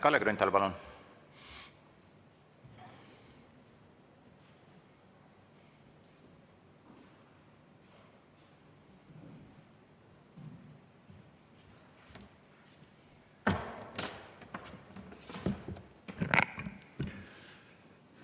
Kalle Grünthal, palun!